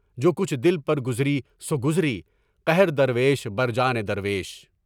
جو کچھ دل پر گزری سو گزری، قہر درویش بر جان درویش۔